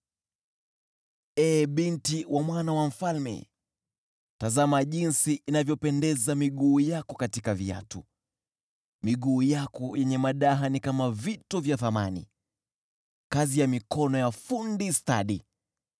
Ee binti wa mwana wa mfalme, tazama jinsi inavyopendeza miguu yako katika viatu! Miguu yako yenye madaha ni kama vito vya thamani, kazi ya mikono ya fundi stadi.